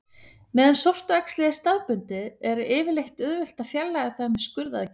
Meðan sortuæxlið er staðbundið er yfirleitt auðvelt að fjarlægja það með skurðaðgerð.